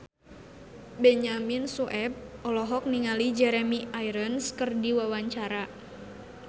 Benyamin Sueb olohok ningali Jeremy Irons keur diwawancara